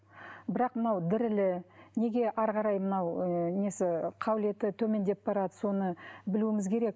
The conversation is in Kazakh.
бірақ мынау дірілі неге әрі қарай мынау ы несі қабілеті төмендеп барады соны білуіміз керек